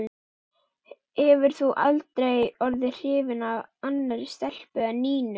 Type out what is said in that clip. Hefur þú aldrei orðið hrifinn af annarri stelpu en Nínu?